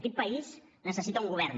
aquest país necessita un govern